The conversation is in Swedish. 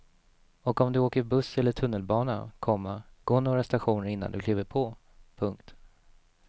Och om du åker buss eller tunnelbana, komma gå några stationer innan du kliver på. punkt